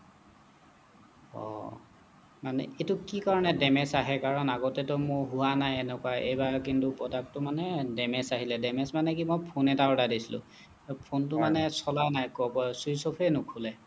অহ্‌ মানে এইটো কি কাৰণে damage আহে বাৰু আগতে টো মোৰ হোৱা নাই এনেকুৱা এইবাৰ কিন্তু product টো মানে damage আহিলে damage মানে কি মই phone এটা order দিছিলোঁ ফোনটো মানে চলা নাই switch off এ নোখোলে